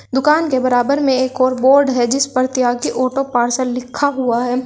दुकान के बराबर में एक और बोर्ड है जिस पर त्यागी ऑटो पार्सल लिखा हुआ है।